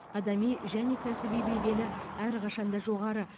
адами және кәсіби беделі әрқашанда жоғары